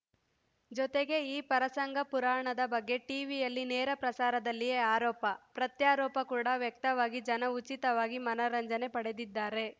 ಜೊತೆಗೆ ಈ ಪರಸಂಗ ಪುರಾಣದ ಬಗ್ಗೆ ಟೀವಿಯಲ್ಲಿ ನೇರಪ್ರಸಾರದಲ್ಲೇ ಆರೋಪ ಪ್ರತ್ಯಾರೋಪ ಕೂಡಾ ವ್ಯಕ್ತವಾಗಿ ಜನ ಉಚಿತವಾಗಿ ಮನರಂಜನೆ ಪಡೆದಿದ್ದಾರೆ